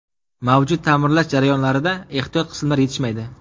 Mavjud ta’mirlash jarayonlarida ehtiyot qismlar yetishmaydi.